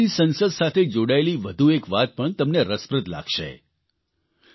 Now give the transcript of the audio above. આમ તો ચીલીની સંસદ સાથે જોડાયેલી વધુ એક વાત પણ તમને રસપ્રદ લાગશે